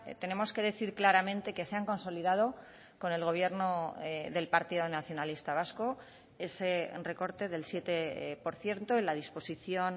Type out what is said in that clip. tenemos que decir claramente que se han consolidado con el gobierno del partido nacionalista vasco ese recorte del siete por ciento en la disposición